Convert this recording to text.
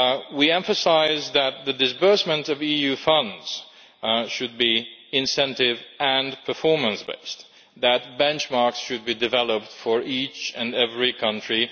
We emphasise that the disbursement of EU funds should be incentive and performance based and that benchmarks should be developed for each and every country.